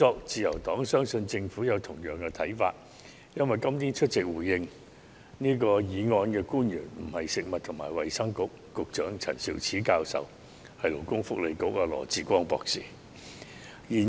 自由黨相信政府有同樣的看法，因為今天出席回應議案的官員並非食物及衞生局局長陳肇始教授，而是勞工及福利局局長羅致光博士。